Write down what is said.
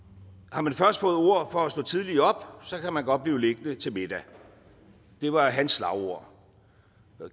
har man først fået ord for at stå tidligt op kan man godt blive liggende til middag det var hans slagord